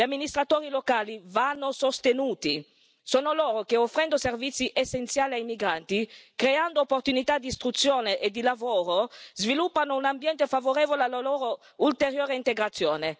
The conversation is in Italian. Gli amministratori locali vanno sostenuti, sono loro che, offrendo servizi essenziali ai migranti, creando opportunità di istruzione e di lavoro, sviluppano un ambiente favorevole alla loro ulteriore integrazione.